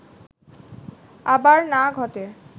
আবার না ঘটে